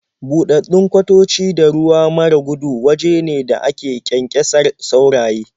Buɗaɗɗun kwatoci da ruwa mara gudu waje ne da ake ƙyanƙyasar sauraye.